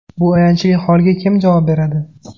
Bu ayanchli holga kim javob beradi?